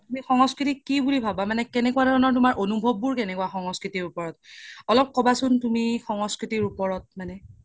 তুমি সংস্কৃতি কি বুলি ভাবা মানে কেনেকুৱা ধৰনৰ তুমাৰ অনোভব বোৰ কেনেকুৱা সংস্কৃতি ওপৰত অলপ কবাচোন তুমি সংস্কৃতি ওপৰত মানে